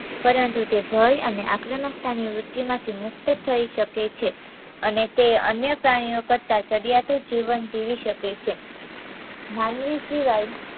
પરંતુ તે ભય અને આક્રમકતાની વૃત્તિમાંથી મુક્ત થઇ શકે છે અને તે અન્ય પ્રાણીઓ કરતાં ચડિયાતું જીવન જીવી શકે છે માનવી સિવાય